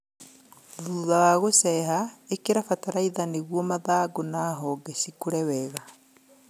hutha wa gũceha, ĩkĩra bataraitha nĩguo mathangũ na honge cikũre werũ